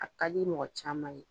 A ka di mɔgɔ caman ye.